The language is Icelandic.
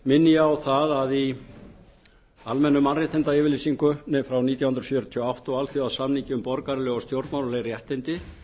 minni ég á það að í almennu mannréttindayfirlýsingunni frá nítján hundruð fjörutíu og átta og alþjóðasamningi um borgaraleg og stjórnmálaleg réttindi